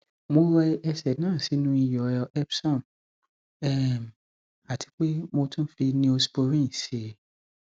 mo rẹ ẹsẹ náà sínú iyọ epsom um àti pé mo tún fi neosporin sí i